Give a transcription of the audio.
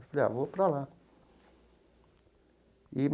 Eu falei ah, vou para lá e.